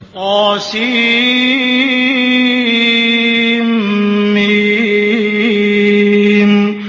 طسم